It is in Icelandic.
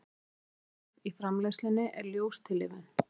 en fyrsta skref í framleiðslunni er ljóstillífun